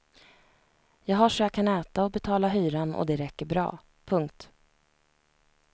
Jag har så jag kan äta och betala hyran och det räcker bra. punkt